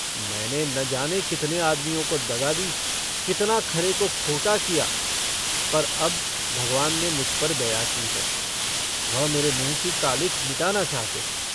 मैंने न जाने कितने आदमियों को दगा दी, कितना खरे को खोटा किया, पर अब भगवान ने मुझ पर दया की है। वह मेरे मुँह की कालिख मिटाना चाहते हैं।